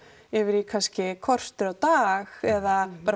yfir í kannski kortér á dag eða bara